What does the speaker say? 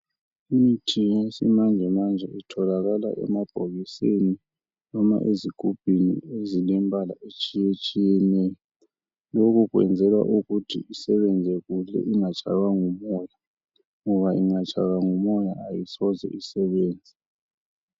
Imithi yesimanjemanje itholakala emabhokisini loma ezigubhini ezilemibala etshiyetshiyeneyo lokho kwenzelwa ukuthi isebenze kuhle ingatshaywa ngumoya ngoba ingatshaywa ngumoya ayisoze isebenze.